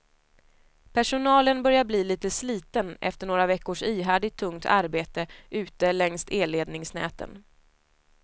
Personalen börjar bli litet sliten efter några veckors ihärdigt tungt arbete ute längs elledningsnäten.